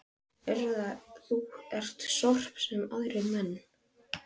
Urðar þú ekki sorp, sem aðrir menn?